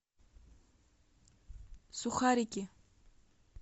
сухарики